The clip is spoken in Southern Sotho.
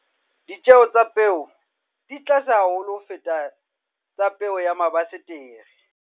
Ditjeo tsa peo di tlase haholo ho feta tsa peo ya mabasetere.